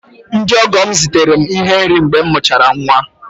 Ndị ọgọ m zitere m ihe nri mgbe m mụchara nwa